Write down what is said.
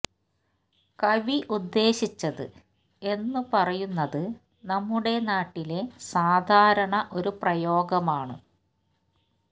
കവി ഉദ്ദേശിച്ചത് എന്നു പറയുന്നത് നമ്മുടെ നാട്ടിലെ സാധാരണ ഒരു പ്രയോഗമാണ്